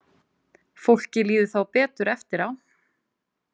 Fólki líður þá betur eftir á.